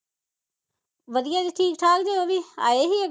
ਵਧੀਆ ਜੇ ਠੀਕ ਠਾਕ ਜੇ ਉਹ ਵੀ ਆਏ ਹੀ